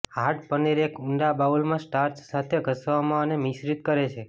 hard paneer એક ઊંડા બાઉલમાં સ્ટાર્ચ સાથે ઘસવામાં અને મિશ્રિત કરે છે